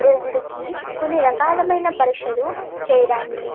రోగులకు కొన్ని రకాలమైన పరీక్షలు చేయడాన్ని --